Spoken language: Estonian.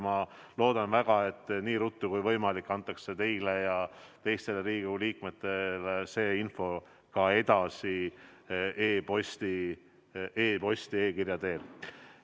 Ma loodan väga, et nii ruttu kui võimalik antakse teile ja teistele Riigikogu liikmetele see info ka edasi e-kirja teel.